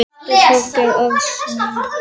Prestur Þorgeir Arason.